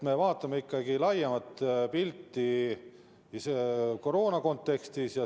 Me vaatame ikkagi laiemat pilti koroona kontekstis.